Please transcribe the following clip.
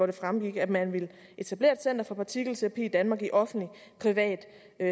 det fremgik at man ville etablere et center for partikelterapi i danmark i offentlig privat